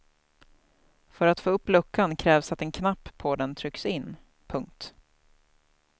För att få upp luckan krävs att en knapp på den trycks in. punkt